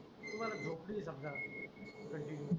तुम्हाला झोबती समजा कॅन्टीनु